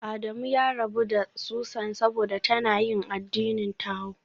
Adamu ya rabu da Susan saboda tana yin addinin Tao